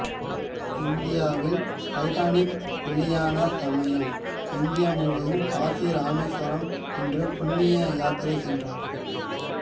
இந்தியாவில் டைட்டானிக் வெளியான சமயம் இந்தியா முழுவதும் காசி ராமேஸ்வரம் என்று புண்ணிய யாத்திரை சென்றார்